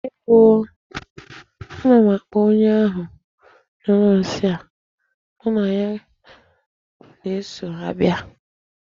Ewo oo, ana m akpọ onye ahụ nyụrụ nsị a, mụ na ya na-eso abịa!